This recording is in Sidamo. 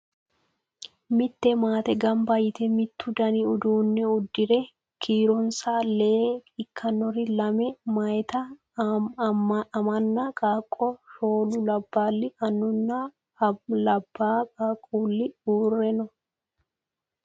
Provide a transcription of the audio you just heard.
Mitte maate gambba yite mittu dani uduunne uddire kiironsa lee ikkannori lame meyaati amanna qaaqqo, shoolu labballi annunna labaa qaaqqulli uure no.